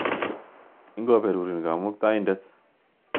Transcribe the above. Ingoperurin Kamuktaindet .